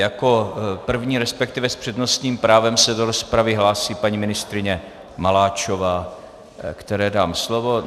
Jako první, respektive s přednostním právem se do rozpravy hlásí paní ministryně Maláčová, které dám slovo.